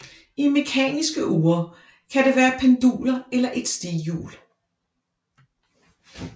I mekaniske ure kan det være penduler eller et stighjul